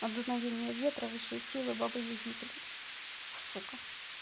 от дуновения ветра высшие силы бабы яги блядь сука